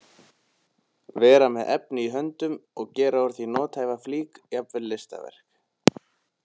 Vera með efni í höndunum og gera úr því nothæfa flík, jafnvel listaverk.